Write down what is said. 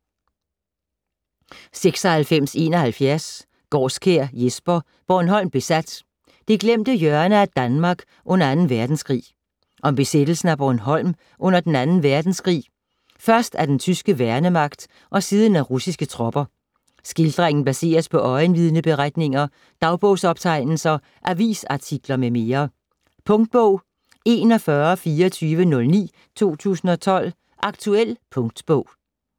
96.71 Gaarskjær, Jesper: Bornholm besat: det glemte hjørne af Danmark under Anden Verdenskrig Om besættelsen af Bornholm under den anden verdenskrig, først af den tyske værnemagt og siden af russiske tropper. Skildringen baseres på øjenvidneberetninger, dagbogsoptegnelser, avisartikler m.m. Punktbog 412409 2012. Aktuel punktbog